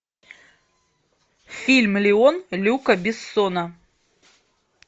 фильм леон люка бессона